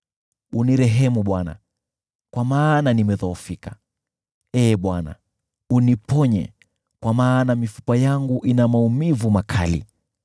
Unirehemu Bwana , kwa maana nimedhoofika; Ee Bwana , uniponye, kwa maana mifupa yangu ina maumivu makali.